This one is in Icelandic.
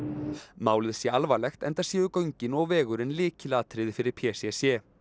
málið sé alvarlegt enda séu göngin og vegurinn lykilatriði fyrir p c c